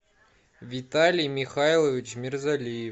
виталий михайлович мирзалиев